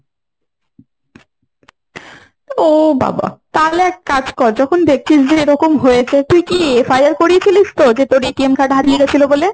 ও বাবা। তাহলে এক কাজ কর যখন দেখছিস যে এরকম হয়েছে তুই কি FIR করিয়ে ছিলিস তো? যে তোর card হারিয়ে গেছিল বলে?